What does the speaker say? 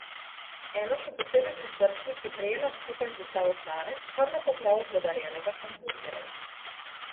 Eno še posebej prisrčnih je prejela skupaj z dostavo hrane, kar na pokrovu podarjenega hamburgerja.